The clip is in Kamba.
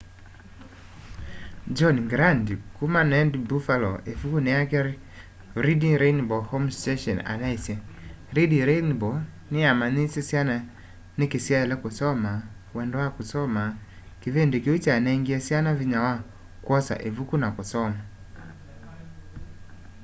john grant kuma wned buffalo ivukuni yake reading rainbow home station anaisye reading rainbow niyamanyiisye syana niki syaile kusoma wendo wa kusoma - kivindi kiu kyanengie syana vinya wa kwosa ivuku na kusoma.